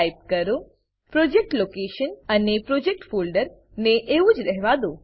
project location project location અને project folder project folder ને એવું જ રહેવા દો